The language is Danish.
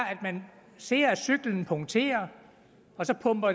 at man ser at cyklen punkterer så pumper